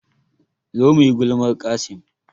Zo muyi gulmar Qassim